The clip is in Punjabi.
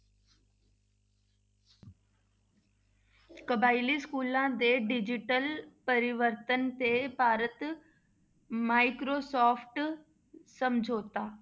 ਕਬਾਇਲੀ schools ਦੇ digital ਪ੍ਰਵਰਤਨ ਤੇ ਭਾਰਤ microsoft ਸਮਝੋਤਾ।